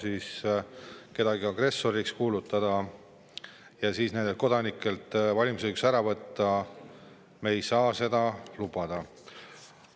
Kui kedagi hakatakse agressoriks kuulutama ning kodanikelt valimisõigust ära võtma, siis me ei saa seda lubada.